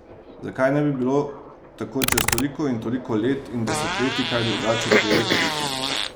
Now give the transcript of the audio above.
Zakaj ne bi bilo tako čez toliko in toliko let in desetletij kaj drugače pri elektriki?